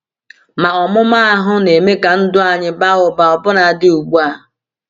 Ma ọmụma ahụ na-eme ka ndụ anyị baa ụba ọbụnadị ugbu a.